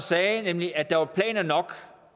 sagde nemlig at der var planer nok